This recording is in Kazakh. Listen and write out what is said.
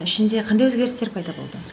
ішінде қандай өзгерістер пайда болды